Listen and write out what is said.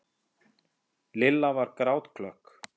Lilla var grátklökk.